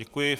Děkuji.